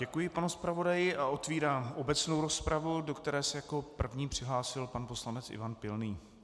Děkuji panu zpravodaji a otevírám obecnou rozpravu, do které se jako první přihlásil pan poslanec Ivan Pilný.